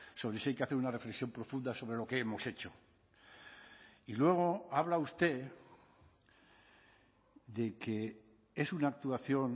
sobre si hay que hacer una reflexión profunda sobre lo que hemos hecho y luego habla usted de que es una actuación